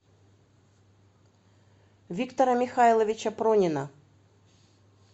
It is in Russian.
виктора михайловича пронина